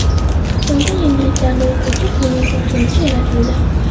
Xitoyda yangiliklarni o‘quvchi sun’iy boshlovchi yaratildi .